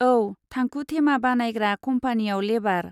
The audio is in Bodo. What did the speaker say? औ, थांखु थेमा बानायग्रा कम्पानीयाव लेबार।